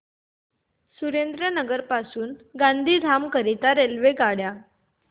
सुरेंद्रनगर पासून गांधीधाम करीता रेल्वेगाड्या